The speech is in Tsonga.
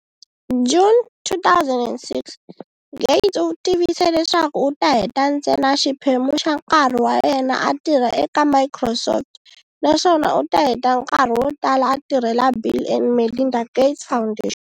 June 2006, Gates u tivise leswaku u ta heta ntsena xiphemu xa nkarhi wa yena a tirha eka Microsoft naswona u ta heta nkarhi wo tala a tirhela Bill and Melinda Gates Foundation.